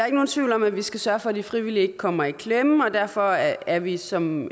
ikke nogen tvivl om at vi skal sørge for at de frivillige ikke kommer i klemme og derfor er vi som